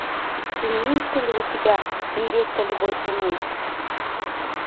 имеется ли у тебя невеста любой ценой